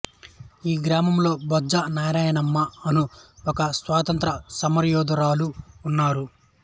ఈ గ్రామములో బొజ్జా నారాయణమ్మ అను ఒక స్వాతంత్ర్య సమరయోధురాలు ఉన్నారు